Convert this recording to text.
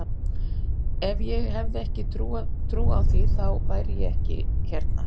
Ef ég hefði ekki trú á því, þá væri ég ekki hérna.